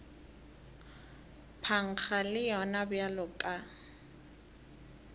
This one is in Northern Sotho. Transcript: phankga le yona bjalo ka